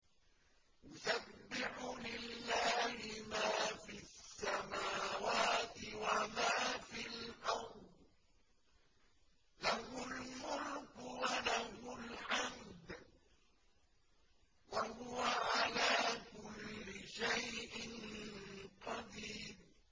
يُسَبِّحُ لِلَّهِ مَا فِي السَّمَاوَاتِ وَمَا فِي الْأَرْضِ ۖ لَهُ الْمُلْكُ وَلَهُ الْحَمْدُ ۖ وَهُوَ عَلَىٰ كُلِّ شَيْءٍ قَدِيرٌ